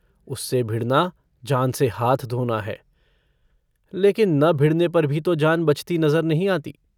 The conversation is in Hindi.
उससे भिड़ना जान से हाथ धोना है लेकिन न भिड़ने पर भी तो जान बचती नहीं नज़र आती।